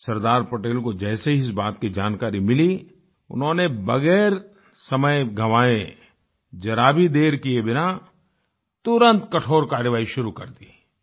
सरदार पटेल को जैसे ही इस बात की जानकारी मिली उन्होंने बगैर समय गंवाये जरा भी देर किये बिना तुरंत कठोर कार्यवाही शुरू कर दी